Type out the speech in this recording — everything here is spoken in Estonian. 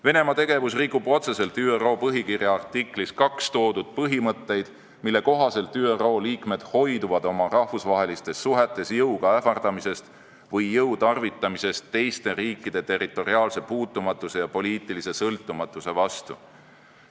Venemaa tegevus rikub otseselt ÜRO põhikirja artiklis 2 toodud põhimõtteid, mille kohaselt ÜRO liikmed hoiduvad oma rahvusvahelistes suhetes jõuga ähvardamisest või jõu tarvitamisest teiste riikide territoriaalse puutumatuse ja poliitilise sõltumatuse vastu.